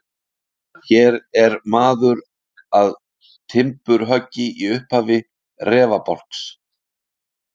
Hér er maður að timburhöggi í upphafi rekabálks.